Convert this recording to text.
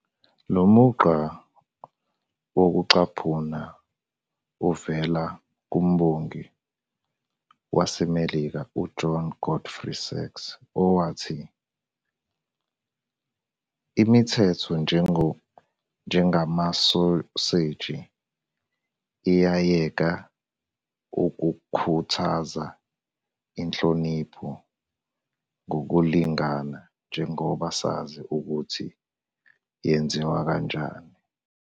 Lo mugqa wokucaphuna uvela kumbongi waseMelika uJohn Godfrey Saxe, owathi "Imithetho, njengamasoseji, iyayeka ukukhuthaza inhlonipho ngokulingana njengoba sazi ukuthi yenziwa kanjani", 1869.